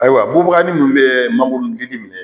Ayiwa bubaga munnu be mangoro dili minɛ